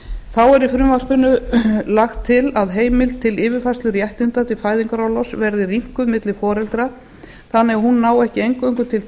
þá er í frumvarpinu lagt til að heimild til yfirfærslu réttinda til fæðingarorlofs verði rýmkuð milli foreldra þannig að hún nái ekki eingöngu til